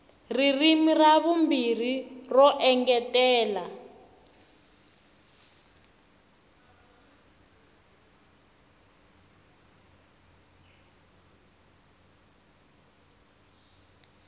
ririmi ra vumbirhi ro engetela